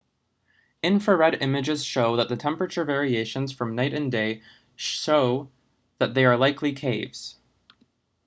infrared images show that the temperature variations from night and day show that they are likely caves